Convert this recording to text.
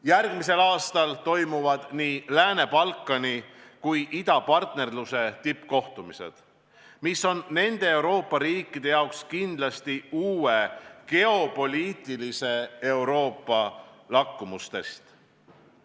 Järgmisel aastal toimuvad nii Lääne-Balkani kui ka idapartnerluse tippkohtumised, mis on nende Euroopa riikide jaoks kindlasti uue geopoliitilise Euroopa lakmustest.